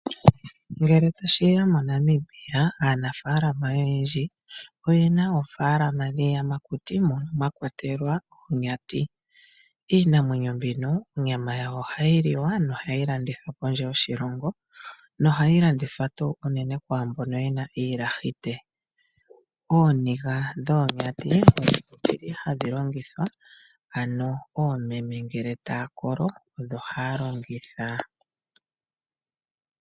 Ngele tashiya moNamibia aanafaalama oyendji oyena oofalama dhiiyamakuti mono mwa kwatelwa oonyati. Iinamwenyo mbino onyama yawo ohayi liwa nohayi landithwa pondje yoshilongo nohayi landithwa unene kwaa mbono yena iilahite. Ooniga dhoonyati odhili hadhi longithwa ano koomeme ngele taya kolo odho haya longitha.